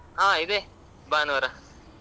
ಹ ಹಾ ಇದೆ ಭಾನುವಾರ.